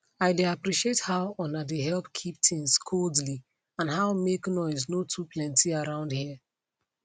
i dey appreciate how una dey help keep things codely and how make noise no too plenty around here